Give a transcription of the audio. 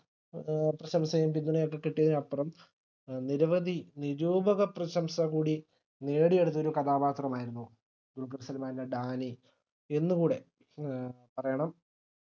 ഏർ പ്രശംസയും പിന്തുണയുമൊക്കെ കിട്ടിയതിനപ്പുറം നിരവധി നിരൂപകപ്രശംസ കൂടി നേടിയെടുത്ത ഒരു കഥാപാത്രമായിരുന്നു ദുൽഖർസൽമാന്റെ ഡാനി എന്നു കൂടെ ഏഹ് പറയണം